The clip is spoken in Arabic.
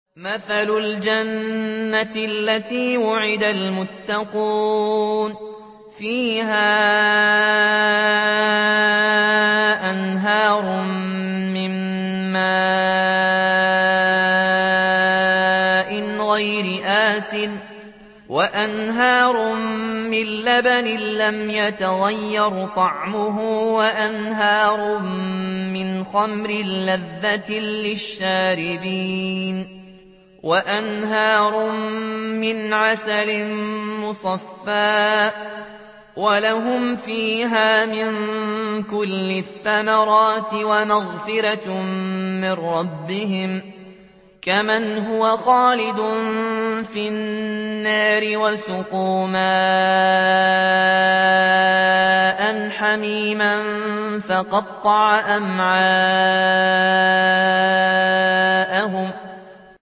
مَّثَلُ الْجَنَّةِ الَّتِي وُعِدَ الْمُتَّقُونَ ۖ فِيهَا أَنْهَارٌ مِّن مَّاءٍ غَيْرِ آسِنٍ وَأَنْهَارٌ مِّن لَّبَنٍ لَّمْ يَتَغَيَّرْ طَعْمُهُ وَأَنْهَارٌ مِّنْ خَمْرٍ لَّذَّةٍ لِّلشَّارِبِينَ وَأَنْهَارٌ مِّنْ عَسَلٍ مُّصَفًّى ۖ وَلَهُمْ فِيهَا مِن كُلِّ الثَّمَرَاتِ وَمَغْفِرَةٌ مِّن رَّبِّهِمْ ۖ كَمَنْ هُوَ خَالِدٌ فِي النَّارِ وَسُقُوا مَاءً حَمِيمًا فَقَطَّعَ أَمْعَاءَهُمْ